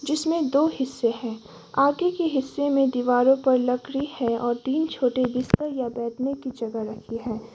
इसमें दो हिस्से हैं आगे के हिस्से में दीवारों पर लकड़ी है और तीन छोटे बिस्तर या बैठने की जगह रखी है।